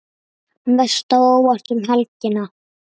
Mest á óvart um helgina?